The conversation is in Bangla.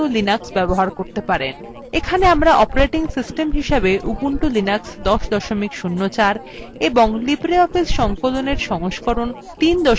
এখানে আমরা অপারেটিং সিস্টেম হিসেবে উবুন্টু লিনাক্স ১০ ০৪ এবং libreoffice সংকলনএর সংস্করণ ৩ ৩ ৪ ব্যবহার করছি